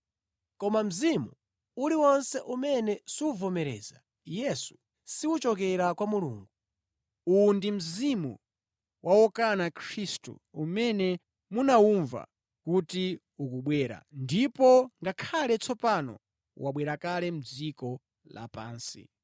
koma mzimu uliwonse umene suvomereza Yesu, siwochokera kwa Mulungu. Uwu ndi mzimu wa wokana Khristu umene munawumva kuti ukubwera ndipo ngakhale tsopano wabwera kale mʼdziko lapansi.